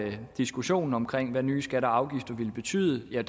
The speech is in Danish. diskussionen om hvad nye skatter og afgifter ville betyde